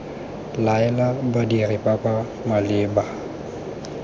laela badiri ba ba maleba